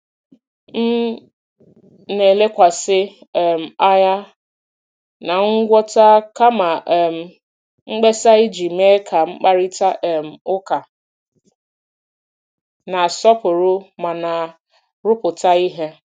M na-elekwasị um anya na ngwọta kama um mkpesa iji mee ka mkparịta um ụka na-asọpụrụ ma na-arụpụta ihe.